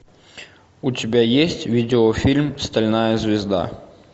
у тебя есть видеофильм стальная звезда